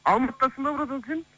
алматыдасың ба братан сен